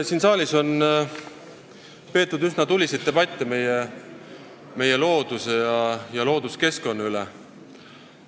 Siin saalis on peetud üsna tuliseid debatte meie looduse ja looduskeskkonna üle.